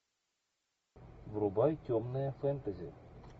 врубай темное фэнтези